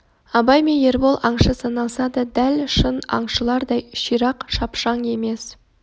абай мен ербол аңшы саналса да дәл шын аңшылардай ширақ шапшаң емес